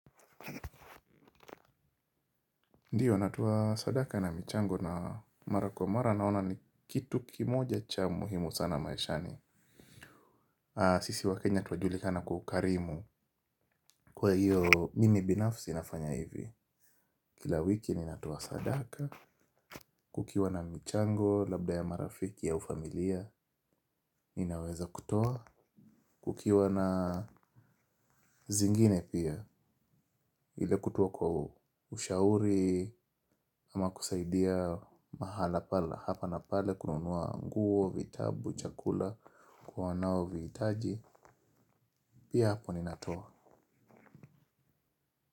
Ndiyo natoa sadaka na michango na mara kwa mara naona ni kitu kimoja cha muhimu sana maishani. Sisi wa Kenya tunajulikana kwa ukarimu. Kwa hiyo mimi binafsi nafanya hivi. Kila wiki ninatoa sadaka. Kukiwa na michango, labda ya marafiki au ufamilia. Ninaweza kutoa. Kukiwa na zingine pia. Ile kutoa kwa ushauri. Ama kusaidia mahala pala. Hapa na pale kununuwa nguo, vitabu, chakula, kwa wanao vihitaji. Pia hapo ninatoa.